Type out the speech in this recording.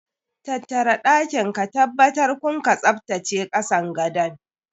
Tattara ɗakin ka tabbtar kum ka tsaftace kasan gadon.